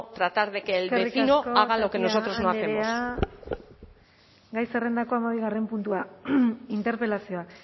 tratar de que el vecino haga lo que nosotros no hacemos eskerrik asko tapia andrea gai zerrendako hamabigarren puntua interpelazioa